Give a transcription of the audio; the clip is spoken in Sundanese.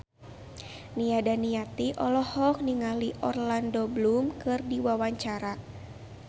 Nia Daniati olohok ningali Orlando Bloom keur diwawancara